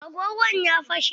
Agogon ya fashe.